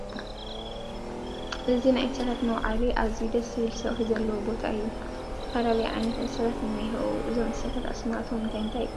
እዚ ናይ እንስሳታት መውዓሊ ኣዚዩ ደስ ዝብል ሰውሒ ዘለዎ ቦታ እዩ ፡ ዝተፈላለዩ ዓይነት እንስሳታት እንሄዎ እዞም እንስሳታት ኣስማቶም እንታይ እንታይ ይበሃሉ ?